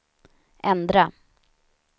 ändra